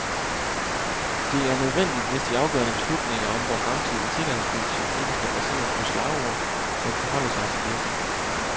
Det er nødvendigt, hvis de afgørende beslutninger om vor fremtidige sikkerhedspolitik ikke skal baseres på slagord, men forholde sig til virkeligheden.